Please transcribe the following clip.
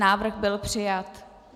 Návrh byl přijat.